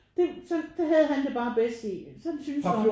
Det sådan det havde han det bare bedst i sådan synes han